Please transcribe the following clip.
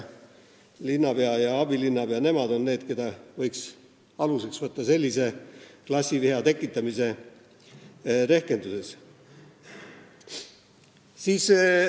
Linnapea ja abilinnapea on need, keda võiks aluseks võtta sellises klassiviha tekitamise rehkenduses.